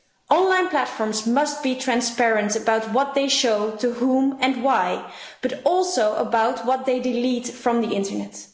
Online platforms must be transparent about what they show to whom and why, but also about what they delete from the internet.